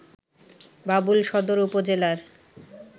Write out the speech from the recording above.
বাবুল সদর উপজেলার